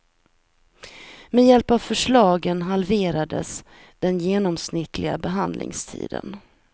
Med hjälp av förslagen halverades den genomsnittliga behandlingstiden.